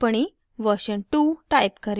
टिप्पणी version two type करें